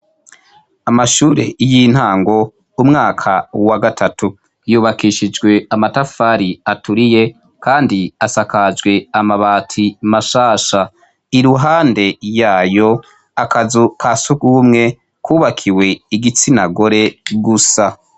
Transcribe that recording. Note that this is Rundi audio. amashure y'intango umwaka wa gatatu yubakishijwe amatafari aturiye kandi asakajwe amabati mashasha iruhande yayo akazu ka sugumwe kubakiwe igitsinagore gusa